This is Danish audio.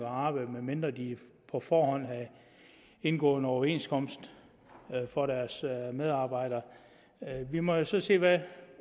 at arbejde medmindre de på forhånd havde indgået en overenskomst for deres medarbejdere vi må jo så se hvad